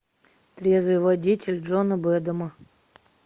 трезвый водитель джона бэдэма